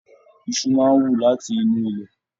Iṣu máa n wú láti inú ilẹ.